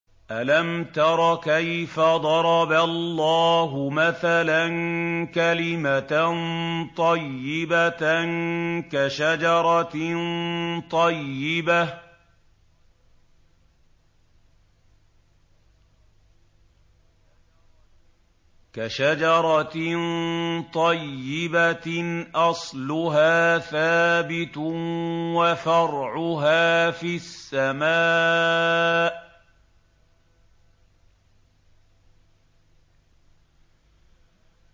أَلَمْ تَرَ كَيْفَ ضَرَبَ اللَّهُ مَثَلًا كَلِمَةً طَيِّبَةً كَشَجَرَةٍ طَيِّبَةٍ أَصْلُهَا ثَابِتٌ وَفَرْعُهَا فِي السَّمَاءِ